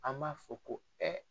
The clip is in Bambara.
An b'a fɔ ko